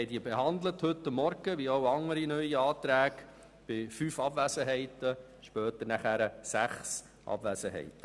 Wir haben die Anträge heute Morgen behandelt, wie auch andere neue Anträge, dies bei fünf, später sechs Abwesenheiten.